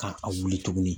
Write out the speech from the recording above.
Ka a wuli tuguni